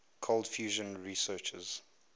cold fusion researchers